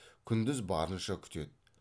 күндіз барынша күтеді